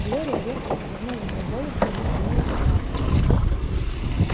глория резко повернула его голову и наклонилась вправо